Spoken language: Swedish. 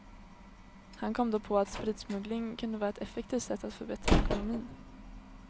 Han kom då på att spritsmuggling kunde vara ett effektivt sätt att förbättra ekonomin.